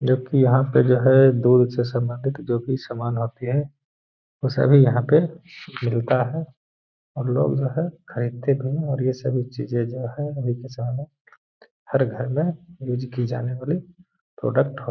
जो की यहां पे जो है दूध से सम्बंधित जो भी सामान आते है वो सारे यहा पे मिलता है। और लोग जो हैं खरीदते भी है और ये सभी चीज़े जो हैं वो है हर घर में युज की जाने वाली प्रोडक्ट हो --